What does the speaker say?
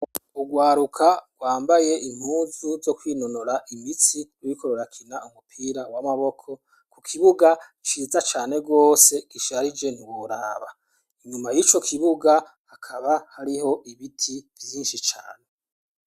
ugwaruka rwambaye impuzu zo kwinonora imitsi ibiriko birakina umupira w'amaboko ku kibuga ciza cane rwose kisharije ntiworaba inyuma y'ico kibuga hakaba hariho ibiti vyinshi cane